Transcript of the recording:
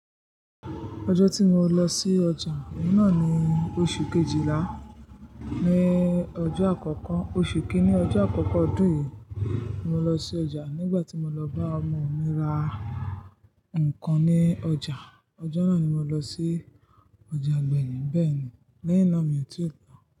Ọjọ́ tí mo lọ sí ọjà, ọ̀una ni oṣù Kejìlá. Ni ọjọ́ àkọ́kọ́, oṣù kíni ọjọ́ àkọ́kọ́ ọdún yìí mo lọ sí ọjà. Nígbà tí mo lọ bá ọmọ mi ra nǹkan ní ọjà. Ọjọ́ náà ni mo lọ sí ọjà agbẹ̀yìn, bẹ́ẹ̀ ni lẹ́hinna mi ò tí ì lọ.